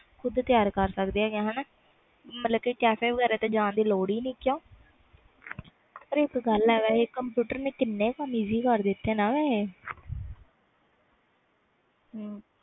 ਖੁਦ ਬਣਾ ਸਕਦੇ ਵਮਤਬਲ cafe ਜਾਨ ਦੀ ਲੋਡ ਨਹੀਂ ਕਿਊ ਪਰ ਇਕ ਗੱਲ ਵ ਕੰਪਿਊਟਰ ਨੇ ਕੀਨੇ ਕੰਮ easy ਕਰਤੇ ਆ